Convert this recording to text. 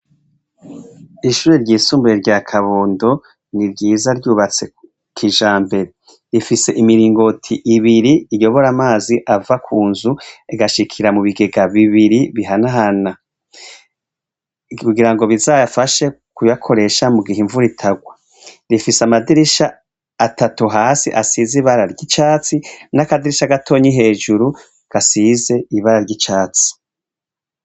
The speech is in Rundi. Ishure ryisumbuye rya kabondo ni ryiza ryubatse kijambere rifise imiringoti ibiri iyobora amazi ava kunzu agashikira mu bigega bibiri bihanahana kugirango bizayafashe mu kuyakoresha mugihe imvura itagwa, rifise amadirisha atatu hasi asize ibara ry'icatsi n'akadirisha gatonyi hejuru gasize ibara ry'icatsi.